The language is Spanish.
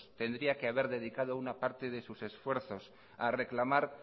tendría que haber dedicado una parte de sus esfuerzos a reclamar